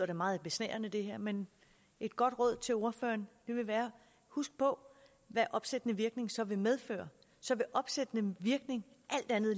da meget besnærende men et godt råd til ordføreren vil være husk på hvad opsættende virkning så vil medføre så vil opsættende virkning alt andet